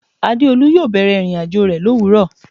Adeolu yo bẹ̀rẹ̀ ìrìnàjò rẹ lowuro